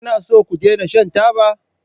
Kuna so ku daina shan taba?